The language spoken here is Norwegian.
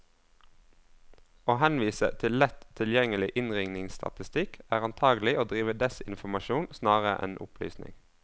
Å henvise til lett tilgjengelig innringningsstatistikk, er antagelig å drive desinformasjon snarere enn opplysning.